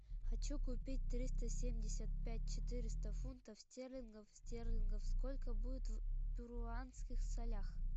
хочу купить триста семьдесят пять четыреста фунтов стерлингов стерлингов сколько будет в перуанских солях